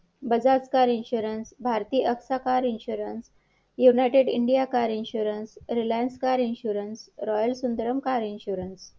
आणि पावतीवर पण लिहिलंय तसं त्यांनी